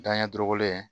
Danɲɛ dɔrɔgɔ in